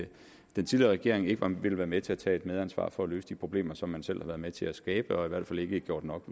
den tidligere regering ikke vil være med til at tage et medansvar for at løse de problemer som man selv har været med til at skabe og i hvert fald ikke gjort nok